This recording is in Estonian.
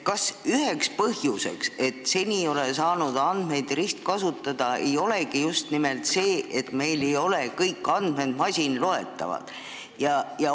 Kas üheks põhjuseks, miks seni ei ole saanud andmeid ristkasutada, ei olegi just nimelt see, et meil ei ole kõik andmed masinloetavad?